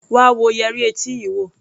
Wá wo yẹrí etí yii wo!